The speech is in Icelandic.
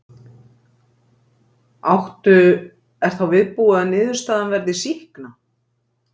Áttu, er þá viðbúið að niðurstaðan verði sýkna?